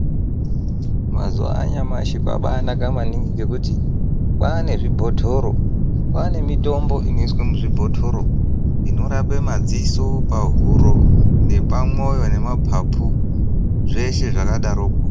Mazuva anyamashi kwaba naka maningi ngekuti kwane zvibhodoro kwaane mitombo inoiswa muzvibhotoro inorape madziso pahuro nepamwoyo nemapapu zveshe zvakadaroko.